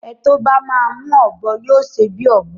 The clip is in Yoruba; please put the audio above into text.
Ẹ tó bá máa mú ọ̀bọ yóò ṣe bí ọ̀bọ